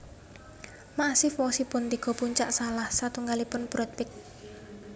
Massif wosipun tiga puncak salah satunggalipun Broad Peak